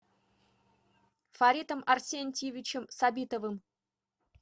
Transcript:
фаритом арсентьевичем сабитовым